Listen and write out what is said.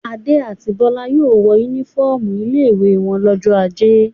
Adé àti Bọ́lá yóò wọ únífọ́ọ́mù ilé-ìwé wọn lọ́jọ́ ajé.